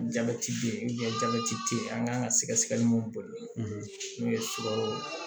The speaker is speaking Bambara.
Jabɛti beyi jabɛti te ye an kan ka sɛgɛsɛgɛli min bolo n'o ye surakaw ye